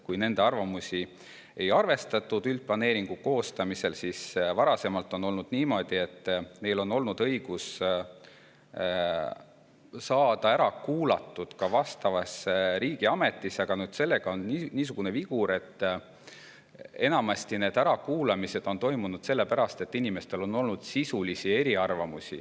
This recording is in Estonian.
Kui nende arvamusi ei arvestatud üldplaneeringu koostamisel, siis varasemalt on olnud niimoodi, et neil on olnud õigus saada ära kuulatud ka vastavas riigiametis, aga sellega on niisugune vigur, et enamasti need ärakuulamised on toimunud selle pärast, et inimestel on olnud sisulisi eriarvamusi.